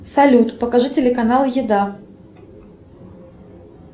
салют покажи телеканал еда